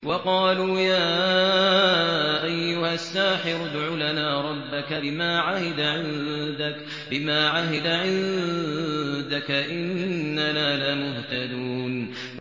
وَقَالُوا يَا أَيُّهَ السَّاحِرُ ادْعُ لَنَا رَبَّكَ بِمَا عَهِدَ عِندَكَ إِنَّنَا لَمُهْتَدُونَ